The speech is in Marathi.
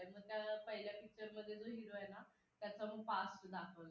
मग त्या पहिल्या picture मध्ये जो hero आहे ना त्याचं मग past दाखवलंय.